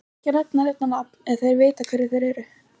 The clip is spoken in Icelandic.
Ég ætla ekki að nefna neinn á nafn en þeir vita hverjir þeir eru.